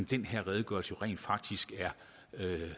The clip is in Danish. den her redegørelse rent faktisk er